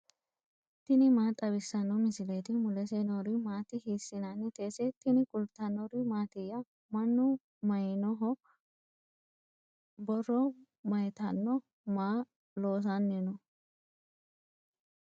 tini maa xawissanno misileeti ? mulese noori maati ? hiissinannite ise ? tini kultannori maattiya? Mannu mayiinniho? Borro mayiittano? Maa loosanni noo?